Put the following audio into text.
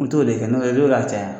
N t'o de kɛ n'o a caya